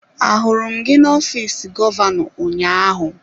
Ahụrụ m gị n'ọfịs gọvanọ ụnyaahụ?